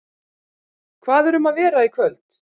Hvað er um að vera í kvöld?